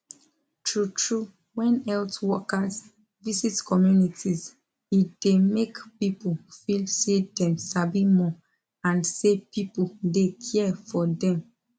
true true when health workers visit communities e dey make people feel say dem sabi more and say people dey care for dem